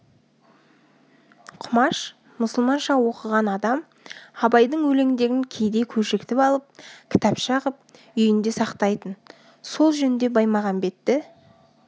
құмаш мұсылманша оқыған адам абайдың өлеңдерін кейде көшіртіп алып кітапша қып үйінде сақтайтын сол жөнде баймағамбетті